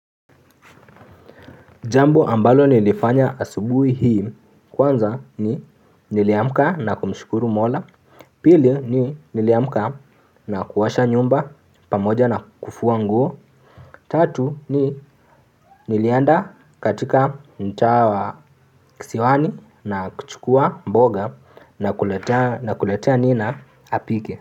Jambo ambalo nilifanya asubuhi hii kwanza ni niliamka na kumshukuru mola pili ni niliamka na kuosha nyumba pamoja na kufua nguo tatu ni nilienda katika mtaa wa kisiwani na kuchukua mboga na kuletea nina apike.